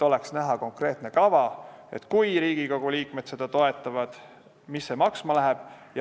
On vaja konkreetset kava, et kui Riigikogu liikmed seda ettepanekut toetavad, mis see siis maksma läheb.